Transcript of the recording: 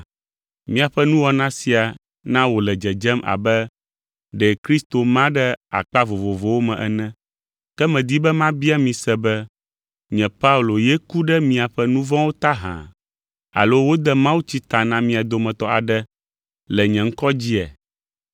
Miaƒe nuwɔna sia na wòle dzedzem abe ɖe Kristo ma ɖe akpa vovovowo me ene. Ke medi be mabia mi se be nye Paulo ye ku ɖe miaƒe nu vɔ̃wo ta hã? Alo wode mawutsi ta na mia dometɔ aɖe le nye ŋkɔ dzia?